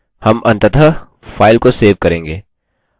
अब मैं इसे प्रदर्शित करता हूँ